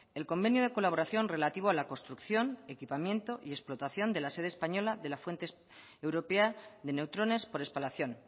el convenio de colaboración relativo a la construcción equipamiento y explotación de la sede española de la fuente europea de neutrones por espalacion